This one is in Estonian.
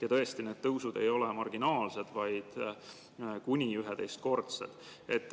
Ja tõesti, need tõusud ei ole marginaalsed, vaid kuni 11-kordsed.